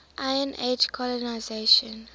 iron age colonisation